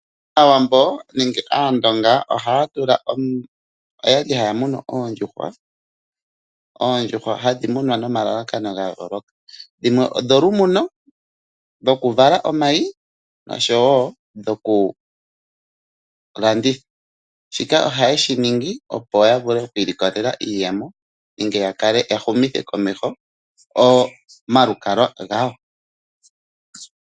Aawambo nenge aandonga oyali haya munu oondjuhwa, oondjuhwa hadhi munwa momalalakano ga yooloka, dhimwe odho lu muno dhoku vala omayi noshowo dhoku landitha. Shika ohaye shi ningi, opo ya vule okwiilikolela iiyemo nenge ya humithe komeho omalukalwa gawo.